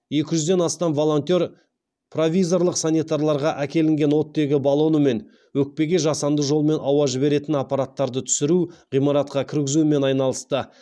екі жүзден астам волонтер провизорлық стационарларға әкелінген оттегі баллоны мен өкпеге жасанды жолмен ауа жіберетін аппараттарды түсіру ғимаратқа кіргізумен айналысты